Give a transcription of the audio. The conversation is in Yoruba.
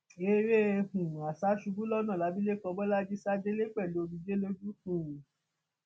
eré um àṣàṣubùúlọnà labílékọ bọlajì sá délẹ pẹlú omijé lójú um